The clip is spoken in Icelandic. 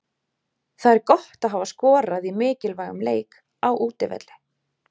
Það er gott að hafa skorað í mikilvægum leik, á útivelli.